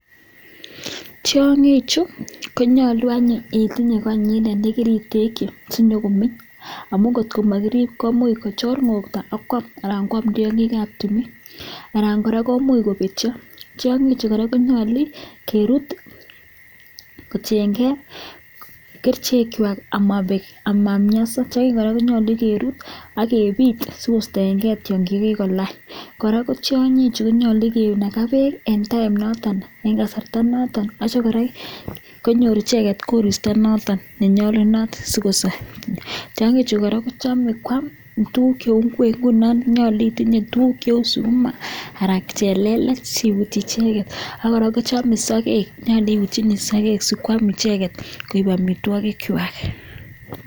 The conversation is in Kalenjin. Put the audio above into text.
Tiangii chuu konyaluu itinyee karik kwaak chekikechopchi ako nyaluu kerutchii kericheeek kotien gee mianwagik kwaaak akonyaluuu itinye tugun cheuuu sukuma anan kochelelech ako sikoeek amitwagik kwaaak